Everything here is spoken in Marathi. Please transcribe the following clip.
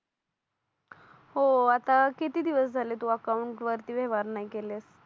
हो आता किती दिवस झाले तू अकाउंट वरती व्यवहार नाही केलेस